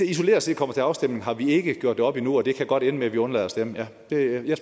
isoleret set kommer til afstemning har vi ikke gjort det op endnu og det kan godt ende med at vi undlader at stemme ja jeg